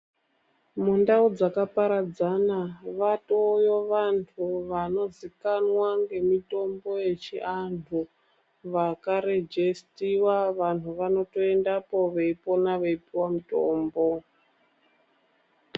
Mundau dzakaparadzana vatoyo vantu vanozikanwa ngemitombo yechiantu vakarwjesitiwa vantu vanotoendapo veipona veipuwa mutombo.